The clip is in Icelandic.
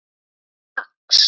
eða fax